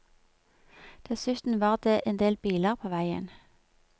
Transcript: Dessuten var det endel biler på veien.